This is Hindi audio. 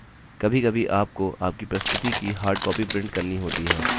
कभीकभी आपको आपकी प्रस्तुति की हार्डकॉपी print करनी होती है